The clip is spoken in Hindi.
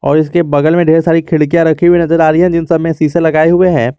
और इसके बगल में ढेर सारी खिड़कियां रखी हुई नजर आ रही है जिन सब में शीशे लगाए हुए हैं।